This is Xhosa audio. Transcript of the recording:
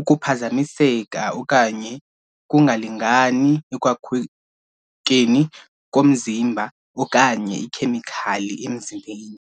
ukuphazamiseka okanye ukungalingani ekwakhekeni komzimba okanye iikhemikhali emzimbeni.